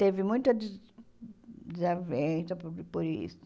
Teve muita desa desavença por por isso.